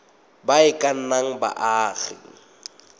ba e ka nnang baagi